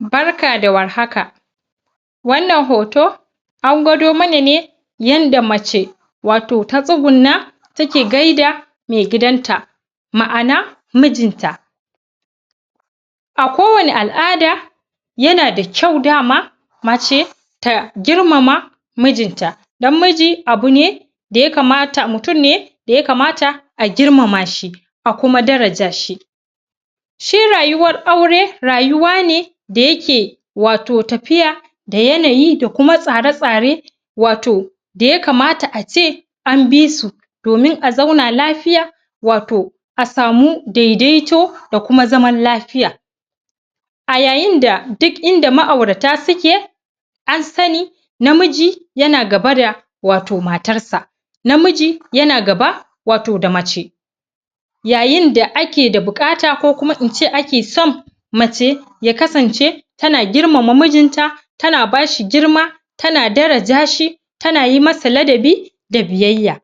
Barka da warhaka wana hoto an gwada mana yan da mace watoh ta tsugun na take gai da mai gidan ta ma'ana mijin ta a kowani al'ada yana da kyau dama mace ta girmama mijin ta dan miji abune da ye kamata mutun ne da yaka mata agir mama shi akuma dara jashi shi rayuwar aure rayuwa ne da yake wato tafiya da yanayi dakuma tsara tsare wato da yakamata ace anbisu domin a zauna lafiya wato asamu daidai toh da kuma zaman lafiya a yayin da duk inda ma aurata suke ansani namiji yana gaba da wato matar sa namiji yana gaba wato da mace yayin da ake de bukata ko kuma ince ake san mace ye kasance tana girmama mijin ta tana bashi girma tana daraja shi tana yimasa ladabi da biyya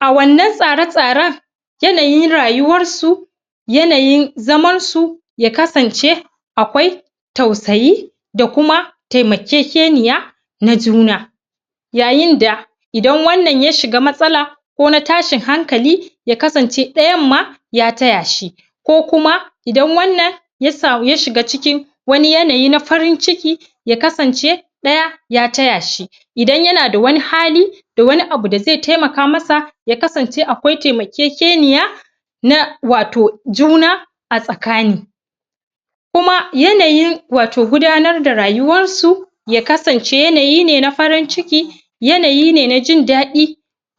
awanna tsara tsaran yanayin rayuwan su yanayin zaman su ya kasan ce akwai tausayi dakuma tamakeke niya najuna yayinda idan wanna ya shiga matsala ko na tashin hankali yakasan ce dayan ma yataya shi kokuma idan wanna yasamu yashiga cikin wani yanayi na farin ciki ya kasance daya yataya shi idan yana da wani hali wani abu da ze tema kamasa yakasance akwai tema kekeni ya na wato juna tsaka ni kuma yanayi watoh gudanar da rayuwan su yakasan ce yanayi ne na farin cikin yana yine najin dadi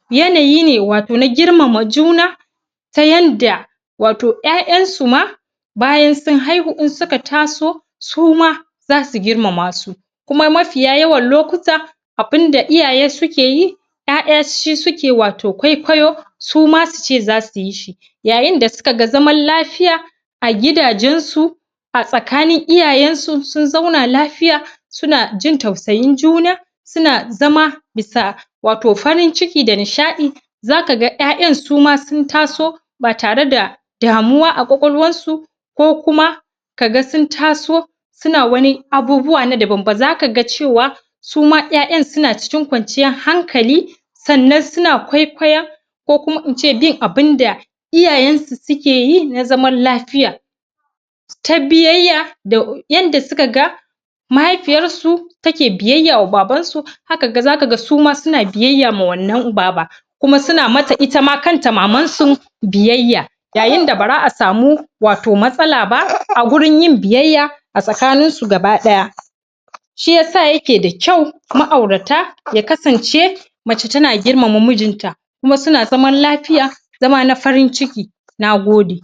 yanayi ne watoh na girmama juna ta yenda watoh yayan suma bayan sun haihu insuka taso suma zasu girmama su kuma mafiya yawan lokuta abun da iyaye suke yi yaya shisuke yi watoh kwai kwayo suma suce zasuyi shi yayin da sukaga zaman lafiya agida jansu a tsaka nin iyayan su sun zauna lafiya suna jin tausayin juna sunazama bisa watoh farin ciki dani shadi zaka yayan suma sun taso ba tare da damuwa a kwakwal wansu ko kuma kaga sun taso suna wani abubuwa nada banba zakaga cewa suma yayan suna cikin kwanciyan hankali sanna suna kwaikwa koh in ce bin abinda iyayan su sukeyi nazaman lafiya ta biye da yayanda sukaga mahai fiyarsu take biyya ma baban su haka zaka ga suma suna biyya ma wanna baba kuma suna mata itama manta maman su biyyaya yayin da baza asamu watoh matsalaba agurin yin biyya atsaka nin su gabadaya shiyasa yakeda kyau ma aurata yakasance mace tana girmama mijin ta kuma suna zaman lafiya zama na farin ciki nagode